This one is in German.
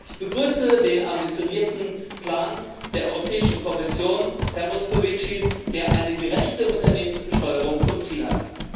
Ich begrüße den ambitionierten Plan der Europäischen Kommission, Herr Moscovici, der eine gerechte Unternehmensbesteuerung zum Ziel hat.